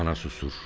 Ana susur.